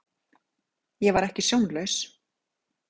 Ég var ekki sjónlaus.